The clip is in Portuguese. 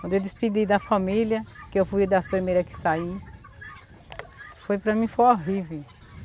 Quando eu despedi da família, que eu fui das primeira que saí, foi para mim, foi horrive.